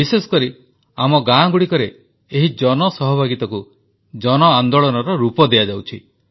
ବିଶେଷକରି ଆମର ଗାଁଗୁଡ଼ିକରେ ଏହି ଜନସହଭାଗିତାକୁ ଜନ ଆନ୍ଦୋଳନର ରୂପ ଦିଆଯାଉଛି